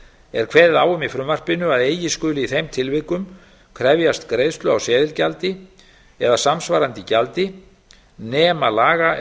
er kveðið á um í frumvarpinu að eigi skuli í þeim tilvikum krefjast greiðslu á seðilgjaldi eða samsvarandi gjaldi nema laga